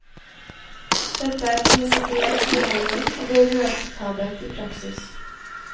Dette er prinsipielt uheldig, og blir uakseptabelt i praksis.